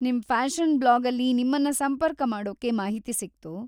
ನಿಮ್ ಫ್ಯಾಷನ್‌ ಬ್ಲಾಗಲ್ಲಿ ನಿಮ್ಮನ್ನ ಸಂಪರ್ಕ ಮಾಡೋಕೆ ಮಾಹಿತಿ ಸಿಕ್ತು.